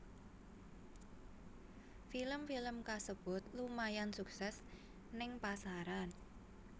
Film film kasebut lumayan sukses ning pasaran